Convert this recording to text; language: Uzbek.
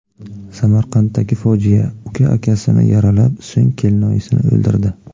Samarqanddagi fojia: Uka akasini yaralab, so‘ng kelinoyisini o‘ldirdi.